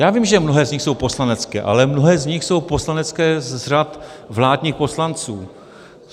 Já vím, že mnohé z nich jsou poslanecké, ale mnohé z nich jsou poslanecké z řad vládních poslanců.